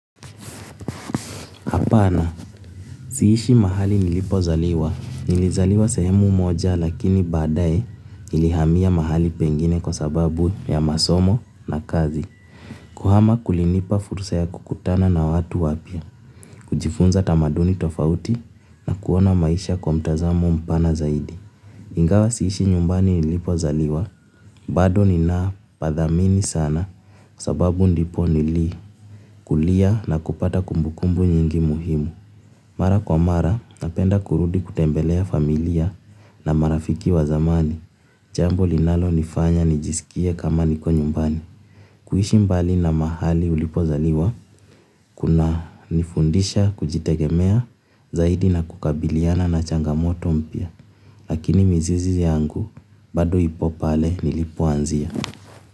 Hapana, siishi mahali nilipo zaliwa. Nilizaliwa sehemu moja lakini badaye nilihamia mahali pengine kwa sababu ya masomo na kazi. Kuhama kulinipa furusa ya kukutana na watu wapya, kujifunza tamaduni tofauti na kuona maisha kwa mtazamo mpana zaidi. Ingawa siishi nyumbani nilipo zaliwa. Bado ninaa padhamini sana kwa sababu ndipo nili kulia na kupata kumbukumbu nyingi muhimu. Mara kwa mara, napenda kurudi kutembelea familia na marafiki wa zamani, jambo linalo nifanya nijisikie kama niko nyumbani. Kuishi mbali na mahali ulipozaliwa kunanifundisha kujitegemea zaidi na kukabiliana na changamoto mpya lakini mizizi yangu bado ipo pale nilipoanzia.